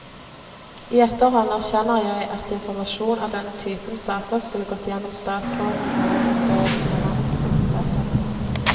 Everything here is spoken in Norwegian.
I etterhånd erkjenner jeg at informasjon av denne typen saker skulle gått gjennom statsråden eller i forståelse med ham, heter det.